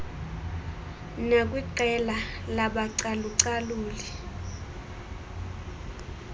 nakwiqela labacalu caluli